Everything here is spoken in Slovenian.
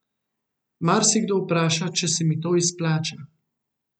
Marsikdo vpraša, če se mi to izplača.